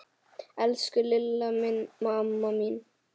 Elsku Lilla amma mín.